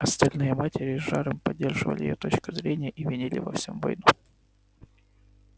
остальные матери с жаром поддерживали её точку зрения и винили во всём войну